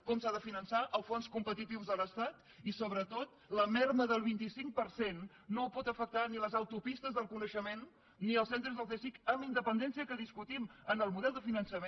com s’ha de finançar els fons competitius de l’estat i sobretot la minva del vint cinc per cent no pot afectar ni les autopistes del coneixement ni els centres del csic amb independència que discutim en el model de finançament